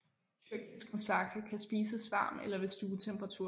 Tyrkisk mussaka kan spise varm eller ved stuetemperatur